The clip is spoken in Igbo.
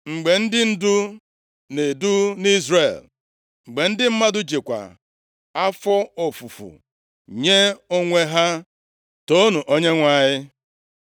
“Mgbe ndị ndu na-edu nʼIzrel, mgbe ndị mmadụ jikwa afọ ofufu nye onwe ha, toonu Onyenwe anyị!